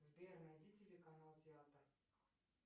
сбер найди телеканал театр